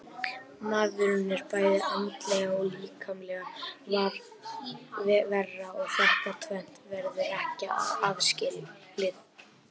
Maðurinn er bæði andleg og líkamleg vera og þetta tvennt verður ekki aðskilið.